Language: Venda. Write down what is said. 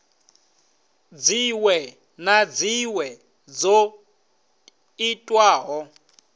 dziṅwe na dziṅwe dzo itwaho